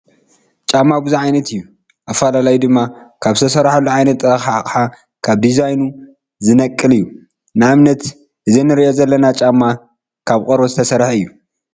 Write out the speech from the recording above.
ጫማ ብዙሕ ዓይነት እዩ፡፡ ኣፈላላዩ ድማ ካብ ዝተሰርሐሉ ዓይነት ጥረ ኣቕሓ፣ ካብ ዲዛይኑ ዝነቅል እዩ፡፡ ንኣብነት እዚ ንሪኦ ዘለና ጫማ ካብ ቆርበት ዝተሰርሐ እዩ፡፡